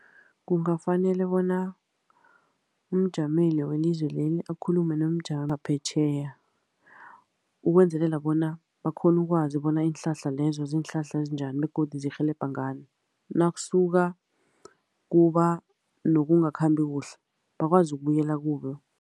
Kungafanele bona umjameli welizwe leli akhulume nomjameli wangaphetjheya, ukwenzelela bona bakghone ukwazi bona iinhlahla lezo ziinhlahla ezinjani, begodu zirhelebha ngani. Nakusuka kuba nokungakhambi kuhle, bakwazi ukubuyela kuye.